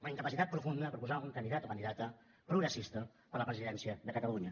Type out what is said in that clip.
una incapacitat profunda de proposar un candidat o candidata progressista per a la presidència de catalunya